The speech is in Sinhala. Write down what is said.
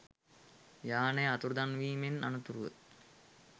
යානය අතුරුදන්වීමෙන් අනතුරුව